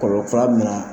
Kɔlɔ fara bɛ na